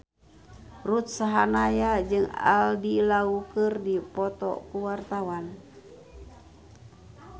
Ruth Sahanaya jeung Andy Lau keur dipoto ku wartawan